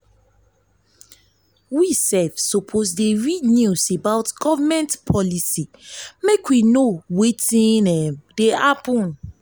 we suppose dey read news about government policy make we know um wetin um dey happen.